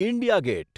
India gate